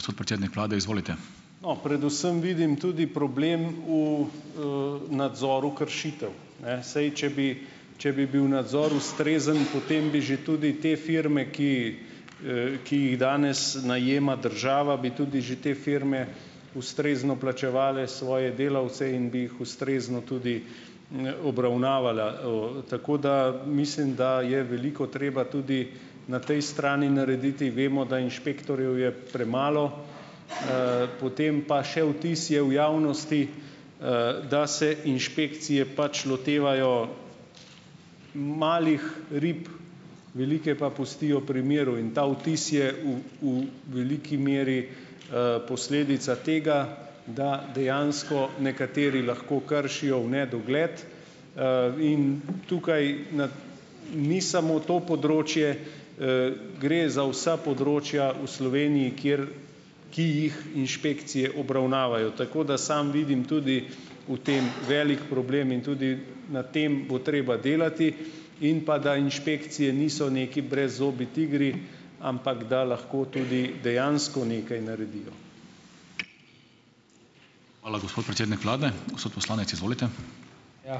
No, predvsem vidim tudi problem v, nadzoru kršitev, ne ... Saj, če bi če bi bil nadzor ustrezen, potem bi že tudi te firme, ki, ki jih danes najema država, bi tudi že te firme ustrezno plačevale svoje delavce in bi jih ustrezno tudi n, obravnavala. Tako da ... Mislim, da je veliko treba tudi na tej strani narediti. Vemo, da inšpektorjev je premalo, potem pa še vtis je v javnosti, da se inšpekcije pač lotevajo malih rib, velike pa pustijo pri miru in ta vtis je v, v veliki meri, posledica tega, da dejansko nekateri lahko kršijo v nedogled, in tukaj na ni samo to področje. Gre za vsa področja v Sloveniji, kateri, ki jih inšpekcije obravnavajo, tako da samo vidim tudi v tem velik problem in tudi na tem bo treba delati in pa da inšpekcije niso neki brezzobi tigri, ampak da lahko tudi dejansko nekaj naredijo.